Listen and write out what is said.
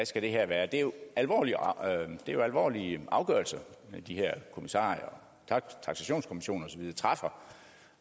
skal være det er jo alvorlige alvorlige afgørelser de her kommissarier og taksationskommissioner og